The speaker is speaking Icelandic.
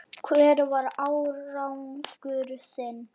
Hver var árangur þinn?